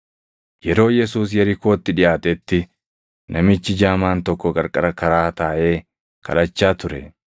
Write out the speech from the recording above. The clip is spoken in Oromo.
Yeroo Yesuus Yerikootti dhiʼaatetti, namichi jaamaan tokko qarqara karaa taaʼee kadhachaa ture.